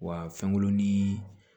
Wa fɛnkurunnin